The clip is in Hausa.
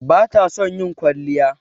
Bata son ƴin kwalliya.